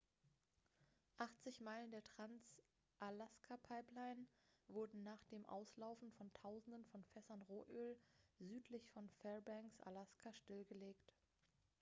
800 meilen der trans-alaska-pipeline wurden nach dem auslaufen von tausenden von fässern rohöl südlich von fairbanks alaska stillgelegt